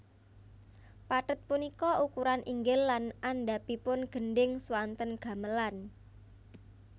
Pathet punika ukuran inggil lan andhapipun gendhing swanten gamelan